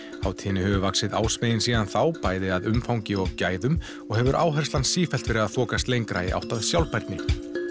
hátíðinni hefur vaxið ásmegin síðan þá bæði að umfangi og gæðum og hefur áherslan sífellt verið að þokast lengra í átt að sjálfbærni